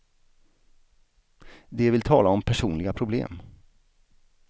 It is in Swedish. De vill tala om personliga problem.